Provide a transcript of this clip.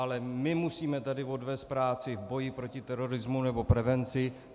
Ale my musíme tady odvést práci v boji proti terorismu nebo prevenci.